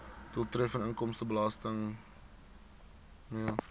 doeltreffende inkomstebelastingstelsel mee